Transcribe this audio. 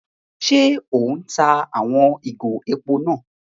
Ṣe o n tá àwon ìgò èpò náà?